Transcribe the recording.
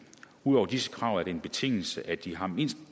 ud over disse krav er det en betingelse at de har mindst